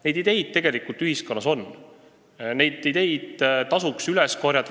Neid ideid tegelikult ühiskonnas on ja need tasuks üles korjata.